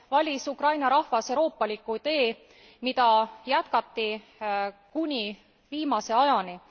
valis Ukraina rahvas euroopaliku tee, mida jätkati kuni viimase ajani.